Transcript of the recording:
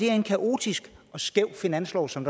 er en kaotisk og skæv finanslov som